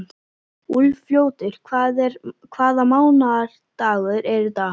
Úlfljótur, hvaða mánaðardagur er í dag?